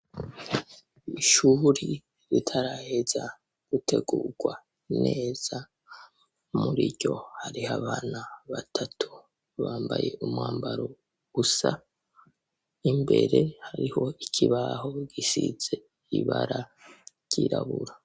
Ishuri ritaraheza gutegugwa neza muriryo hariy'abana batatu bambaye umwambaro usa, imbere hariho ikibaho gisize ibara ryirabura